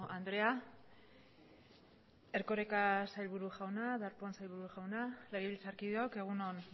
andrea erkoreka sailburu jauna darpón sailburu jauna legebiltzarkideok egun on